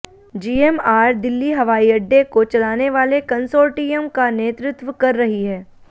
GMR Delhi हवाईअड्डे को चलानेवाले कंसोर्टियम का नेतृत्व कर रही है